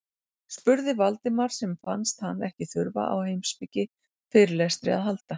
spurði Valdimar sem fannst hann ekki þurfa á heimspekifyrirlestri að halda.